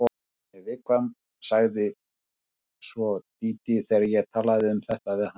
Hún er viðkvæm, sagði svo Dídí þegar ég talaði um þetta við hana.